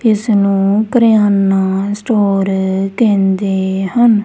ਇਸ ਨੂੰ ਕਿਰੀਆਨਾ ਸਟੋਰ ਕਹਿੰਦੇ ਹਨ।